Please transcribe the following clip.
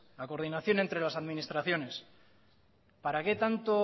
la coordinación entre las administraciones para qué tanto